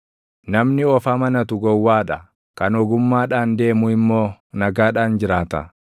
Namni of amanatu gowwaa dha; kan ogummaadhaan deemu immoo nagaadhaan jiraata.